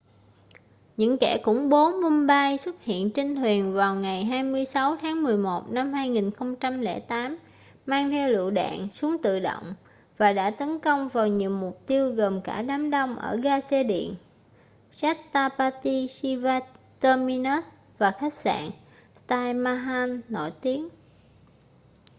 những kẻ khủng bố mumbai xuất hiện trên thuyền vào ngày 26 tháng 11 năm 2008 mang theo lựu đạn súng tự động và đã tấn công vào nhiều mục tiêu gồm cả đám đông ở ga xe điện chhatrapati shivaji terminus và khách sạn taj mahal nổi tiếng